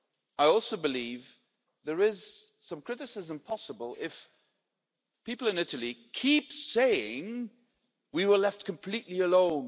I also believe there is some criticism possible if people in Italy keep saying we were left completely alone